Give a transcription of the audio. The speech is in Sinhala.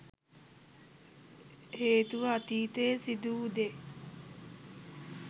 හේතුව අතීතයේ සිදුවූ දේ